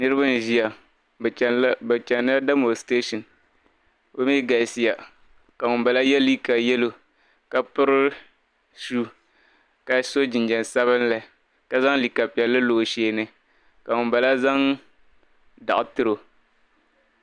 Niribi n ʒiya bɛ chanla de mostresion, bɛmi galisiya ka ŋun bala ye liiga yelɔw ka piri suhu ka sɔ jinjam sabinli ka zaŋ liiga piɛli n lɔ ɔ sheeni ka ŋun bala zaŋ dɔɣi tirɔ,